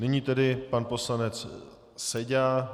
Nyní tedy pan poslanec Seďa.